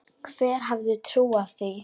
Hver hefði trúað því??